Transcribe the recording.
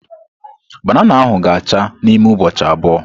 Banana ahu ga acha n'ime ụbọchị abụọ.